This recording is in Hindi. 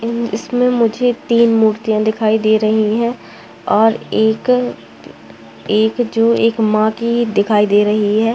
इसमें मुझे तीन मूर्तियाँ दिखाई दे रही है और ए एक जो एक माँ की दिखाई दे रही है।